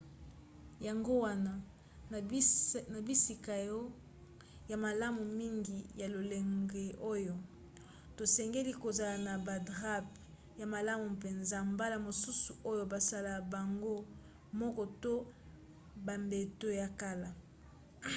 yango wana na bisika ya malamu mingi ya lolenge oyo tosengeli kozala na badrap ya malamu mpenza mbala mosusu oyo basala bango moko to bambeto ya kala